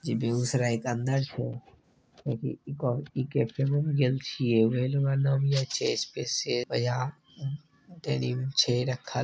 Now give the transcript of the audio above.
इ बेगूसराय के अंदर छै।---